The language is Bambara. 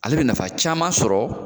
Ale bɛ nafa caman sɔrɔ.